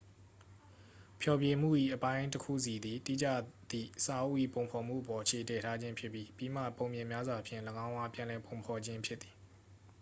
ဖျော်ဖြေမှု၏ အပိုင်းတစ်ခုစီသည် တိကျသည့်စာအုပ်၏ ပုံဖော်မှုအပေါ် အခြေတည်ထားခြင်းဖြစ်ပြီး ပြီးမှ ပုံပြင်များစွာဖြင့် ၎င်းအား ပြန်လည်ပုံဖော်ခြင်းဖြစ်သည်